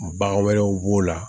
Bagan wɛrɛw b'o la